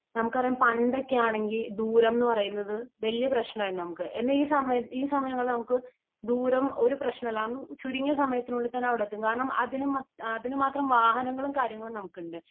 നമുക്കറിയാം പണ്ടൊക്കെ ആണെങ്കി ദൂരം എന്ന് പറയുന്നത് വലിയ പ്രശ്നമായിരുന്നു നമുക്ക് . എന്നാൽ ഈ സമയ ഈ സമയങ്ങളിൽ നമുക്ക് ദൂരം ഒരു പ്രശ്നമല്ല . നമുക്ക് അതിന് അതിന് മാത്രം വാഹനങ്ങളും കാര്യങ്ങളും നമുക്കുണ്ട് .